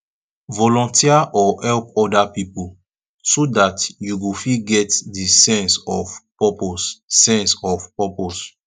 volunteer or help oda pipo so dat you go fit get di sense of purpose sense of purpose